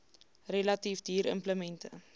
relatief duur implemente